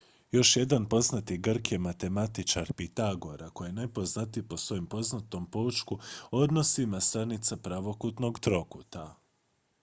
još jedan poznati grk je matematičar pitagora koji je najpoznatiji po svojem poznatom poučku o odnosima stranica pravokutnog trokuta